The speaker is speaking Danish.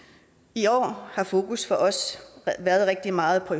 i år har fokus for os været rigtig meget på